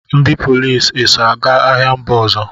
Ndị polisi eso aga agha mba ọzọ?